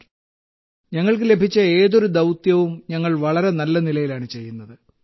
sir ഞങ്ങൾക്ക് ലഭിച്ച ഏതൊരു ദൌത്യവും ഞങ്ങൾ വളരെ നല്ല നിലയിലാണ് ചെയ്യുന്നത്